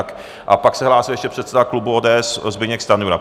A pak se hlásil ještě předseda klubu ODS Zbyněk Stanjura.